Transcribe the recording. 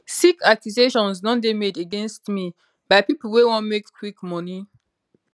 sick accusations don dey made against me by pipo wey wan make quick money